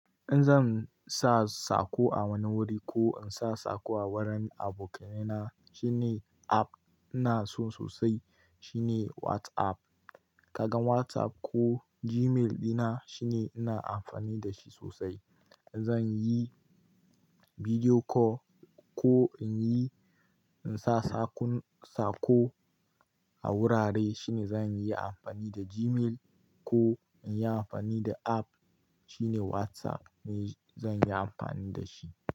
In zan sa sako a wani wuri ko in sa sako a wurin abokananai na shine app ina so sosai shine WhatsApp. Kaga WhatsApp ko Gmail dina shine ina amfani da shi sosai. Zan yi video call ko in yi, in sa sakun sako a wurare shine zan yi amfani da Gmail ko in yi amfani da app shine WhatsApp ne zan yi amfani da shi.